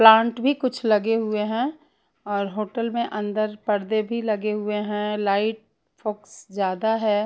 Plant भी कुछ लगे हुए हैं और होटल में अंदर पर्दे भी लगे हुए हैं लाइट फोक्स ज्यादा है।